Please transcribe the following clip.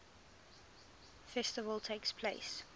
festival takes place